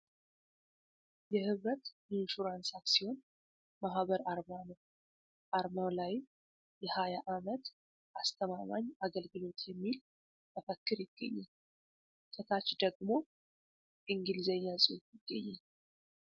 የህብረት ኢንሹራንስ አክሲዮን ማህበር አርማ ነው ። አርማው ላይም የ 20 ዓመት አስተማማኝ አገልግሎት የሚል መፈክር ይገኛል ። ከታች ደግሞ እንግሊዘኛ ጽሁፍ ይገኛል ።